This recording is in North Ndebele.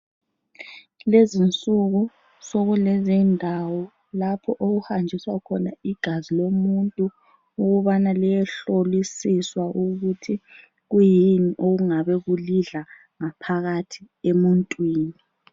Lezinsuku sokulezindawo lapho okuhanjiswa khona igazi lomuntu ukubana liyehlolisiswa ukuthi kuyini okungabe kulidla ngaphakathi emuntwini.